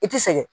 I ti sɛgɛn